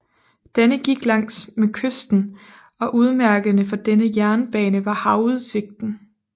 Denne gik langs med kysten og udmærkende for denne jernbane var havudsigten